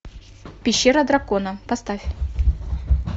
пещера дракона поставь